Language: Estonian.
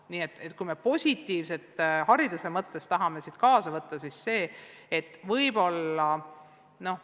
Nii et kui me tahame sellest olukorrast midagi positiivset hariduse mõttes kaasa võtta, siis võikski see olla uus kogemus.